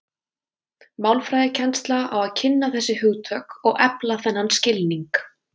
Málfræðikennslan á að kynna þessi hugtök og efla þennan skilning.